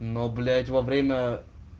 но блять во время